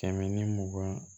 Kɛmɛ ni mugan